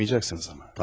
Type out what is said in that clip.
Kısmiyəcəksiniz amma.